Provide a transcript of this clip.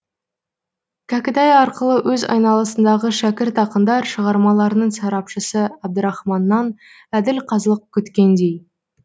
кәкітай арқылы өз айналасындағы шәкірт ақындар шығармаларының сарапшысы әбдірахманнан әділ қазылық күткендей